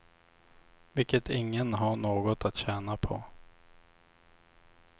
Vilket ingen har något att tjäna på.